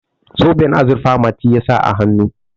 zoben azurfa mati ya sa a hannu